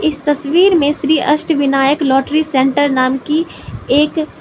इस तस्वीर में श्री अष्टविनायक लॉटरी सेंटर नाम की एक --